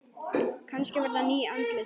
Kannski verða ný andlit.